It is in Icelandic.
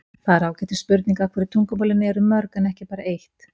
það er ágætis spurning af hverju tungumálin eru mörg en ekki bara eitt